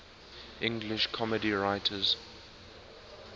english comedy writers